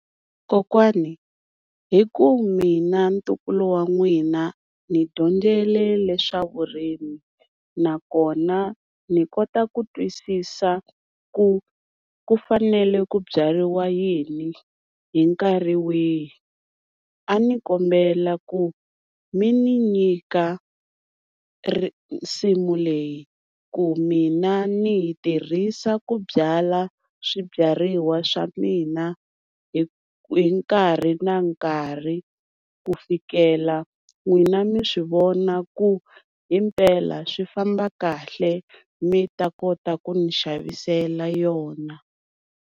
Kokwani hi ku mina ntukulu wa n'wina ni dyondzele leswa vurimi, nakona ni kota ku twisisa ku ku fanele ku byariwa yini hi nkarhi wihi, a ni kombela ku mi ni nyika nsimu leyi ku mina ni yi tirhisa ku byala swibyariwa swa mina hi hi nkarhi na nkarhi. Ku fikela n'wina mi swi vona ku himpela swi famba kahle mi ta kota ku ni xavisela yona.